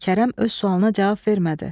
Kərəm öz sualına cavab vermədi.